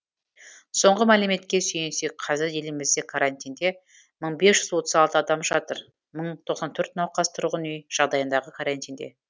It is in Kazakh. соңғы мәліметке сүйенсек қазір елімізде карантинде мың бес жүз отыз алты адам жатыр мың тоқсан төрт науқас тұрғын үй жағдайындағы карантинде